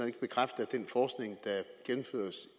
ikke bekræfte